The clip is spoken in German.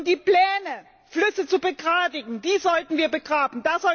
Die Pläne, Flüsse zu begradigen, sollten wir begraben.